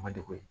Ma degun ye